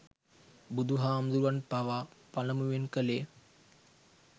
බුදුහාමුදුරුවන් පවා පළමුවෙන් කළේ